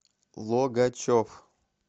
логачев